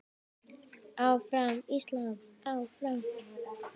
Áfram Ísland, áfram.